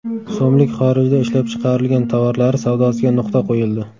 so‘mlik xorijda ishlab chiqarilgan tovarlari savdosiga nuqta qo‘yildi.